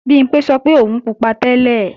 Bimpé sọ pé òun pupa tẹ́lẹ̀